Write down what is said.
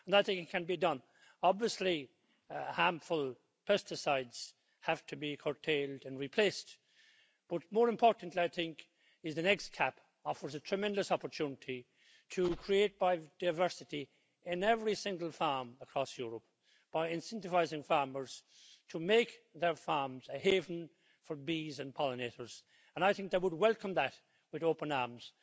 And I think it can be done. Obviously, harmful pesticides have to be curtailed and replaced, but more importantly, I think, is the next CAP offers a tremendous opportunity to create biodiversity in every single farm across Europe by incentivising farmers to make their farms a haven for bees and pollinators, and I think they would welcome that with open arms.